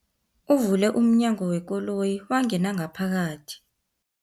Uvule umnyango wekoloyi wangena ngaphakathi.